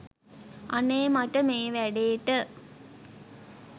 අනේ මට මේ වැඩේට